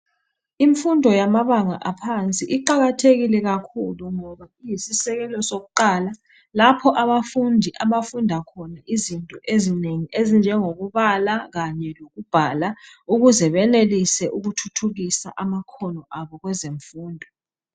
Imfundo yamabanga aphansi iqakathekile kakhulu ngoba iyisisekelo sokuqala lapho abafundi abafunda khona izinto ezinengi ezinjengokubala kanye lokubhala ukuze benelise ukuthuthukisa amakhono abo kweze mfundo,